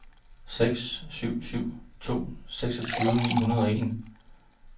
seks syv syv to seksogtyve ni hundrede og en